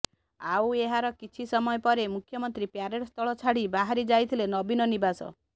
ଆଉ ଏହାର କିଛି ସମୟ ପରେ ମୁଖ୍ୟମନ୍ତ୍ରୀ ପରେଡ ସ୍ଥଳ ଛାଡି ବାହରି ଯାଇଥିଲେ ନବୀନ ନିବାସ